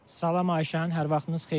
Salam Ayşən, hər vaxtınız xeyir.